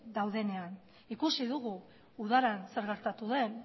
daudenean ikusi dugu udaran zer gertatu den